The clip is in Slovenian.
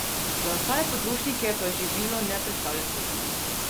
Za ostale potrošnike pa živilo ne predstavlja tveganja.